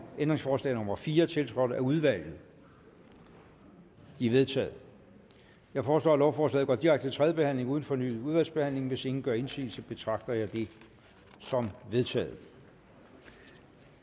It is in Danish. ændringsforslag nummer fire tiltrådt af udvalget de er vedtaget jeg foreslår at lovforslaget går direkte til tredje behandling uden fornyet udvalgsbehandling hvis ingen gør indsigelse betragter jeg det som vedtaget